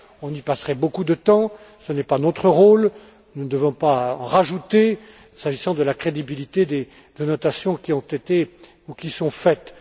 On y passerait beaucoup de temps, ce n'est pas notre rôle, nous ne devons pas en rajouter, s'agissant de la crédibilité des notations qui ont été, ou qui sont, faites.